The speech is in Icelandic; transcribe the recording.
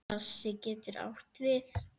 Klasi getur átt við